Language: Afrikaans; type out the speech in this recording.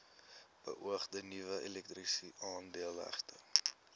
beoogde nuwe elektrisiteitsaanlegte